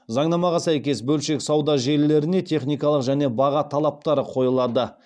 заңнамаға сәйкес бөлшек сауда желілеріне техникалық және баға талаптары қойылады